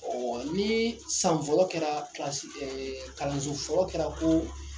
Ɔ ni san fɔlɔ kɛra kilasi kalanso fɔlɔ kɛra ko